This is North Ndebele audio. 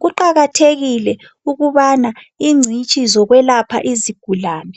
Kuqakathekile ukubana ingcitshi zokwelapha izigulane